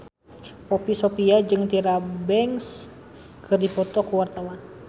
Poppy Sovia jeung Tyra Banks keur dipoto ku wartawan